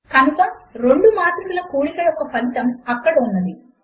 కనుక రెండు మాత్రికల కూడిక యొక్క ఫలితము అక్కడ ఉన్నది